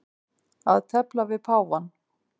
Að tefla við páfann